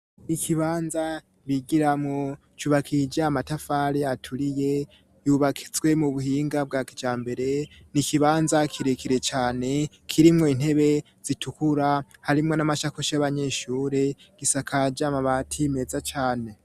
Ikibanza bigiramwo cubakiye ija matafare aturiye yubakizswe mu buhinga bwa kija mbere ni ikibanza kirekire cane kirimwo intebe zitukura harimwo n'amashakusha y'abanyeshure gisa kajama bati meza cane.